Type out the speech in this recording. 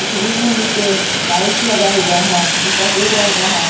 इस रूम में नीचे टाइल्स लगा हुआ है जो सफेद रंग का है।